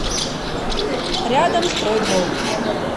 рядом строй двор